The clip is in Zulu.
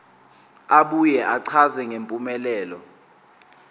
abuye achaze ngempumelelo